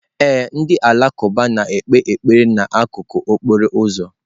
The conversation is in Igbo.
Ee, ndị Alakụba na-ekpe ekpere n'akụkụ okporo ụzọ.